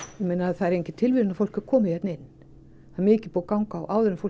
það er engin tilviljun að fólk er komið hingað inn það er mikið búið að ganga á áður en fólk